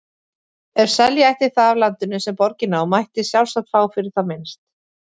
Ef selja ætti það af landinu, sem borgin á, mætti sjálfsagt fá fyrir það minnst